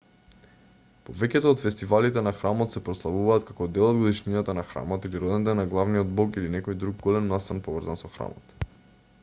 повеќето од фестивалите на храмот се прославуваат како дел од годишнината на храмот или роденден на главниот бог или некој друг голем настан поврзан со храмот